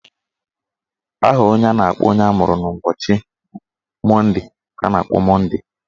Aha a na-akpọ onye amụrụ n'ụbọchị Monde ka a na-akpọ Monde.